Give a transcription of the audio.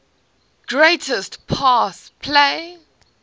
greatest pass play